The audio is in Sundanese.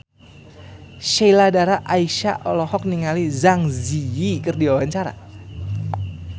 Sheila Dara Aisha olohok ningali Zang Zi Yi keur diwawancara